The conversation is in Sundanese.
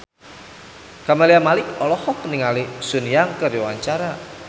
Camelia Malik olohok ningali Sun Yang keur diwawancara